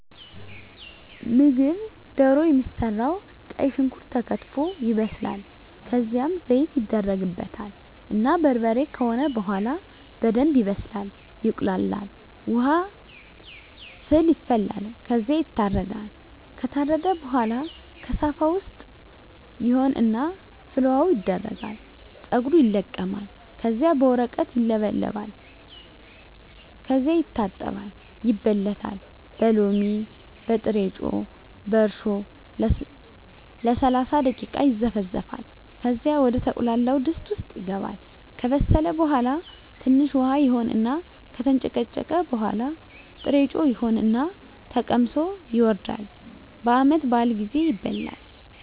ምግብ ደሮ የሚሰራዉ ቀይ ሽንኩርት ተከትፎ ይበስላል ከዝያም ዘይት ይደረግበታል እና በርበሬ ከሆነ በሆላ በደንብ ይበስላል ይቁላላል። ዉሀ ፍል ይፈላል ከዝያ ይታረዳል። ከታረደ በሆላ ከሳፋ ዉስጥ ይሆን እና ፍል ዉሀዉ ይደረጋል ፀጉሩ ይለቀማል ከዚያ በወረቀት ይለበለጣል ከዚያ ይታጠባል ይበለታል በሎሚ፣ በጥሮጮ፣ በእርሾ ለሰላሳ ደቂቃ ይዘፈዘፋል ከዚያ ወደ ተቁላላዉ ድስት ዉስጥ ይገባል። ከበሰለ በሆላ ትንሽ ዉሀ ይሆን እና ከተንጨቀጨቀ በሆላ ጥሮጮ ይሆን እና ተቀምሶ ይወርዳል። በዓመት በአል ጊዜ ይበላል።